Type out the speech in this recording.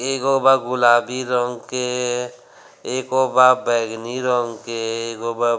एगो बा गुलाबी रंग के एगो बा बैगनी रंग के एगो बा |